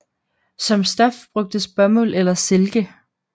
Som stof brugtes bomuld eller silke